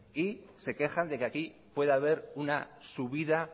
y se quejan de que aquí pueda haber una subida